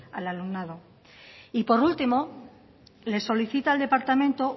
al alumnado y por último le solicita al departamento